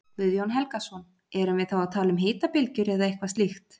Guðjón Helgason: Erum við þá að tala um hitabylgjur eða eitthvað slíkt?